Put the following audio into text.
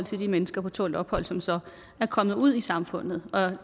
de mennesker på tålt ophold som så er kommet ud i samfundet